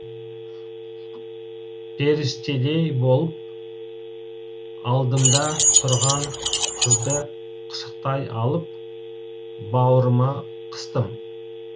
періштедей болып алдымда тұрған қызды құшақтай алып бауырыма қыстым